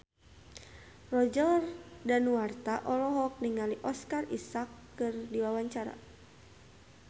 Roger Danuarta olohok ningali Oscar Isaac keur diwawancara